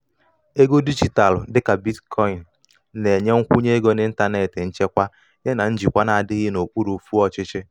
ego dijitalụ dịka bitcoini na-enye nkwụnye ego n’ịntanetị nchekwa yana yana njikwa na-adịghị n’okpuru ofú ọchịchị.